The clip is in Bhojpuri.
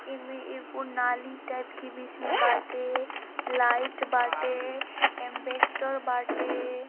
एमे एगो नाली टाइप के बीच में बाटे लाइट बाटे एम्बेस्टर बाटे।